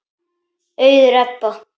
Auður Ebba.